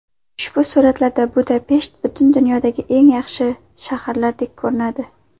Ushbu suratlarda Budapesht butun dunyodagi eng yaxshi shahardek ko‘rinadi.